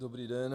Dobrý den.